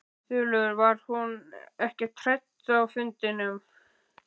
Þulur: Var hún ekkert rædd á fundinum?